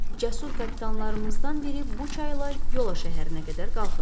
Cəsur kapitanlarımızdan biri bu çayla Yola şəhərinə qədər qalxıb.